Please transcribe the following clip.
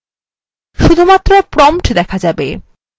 শুধুমাত্র prompt দেখা যাবে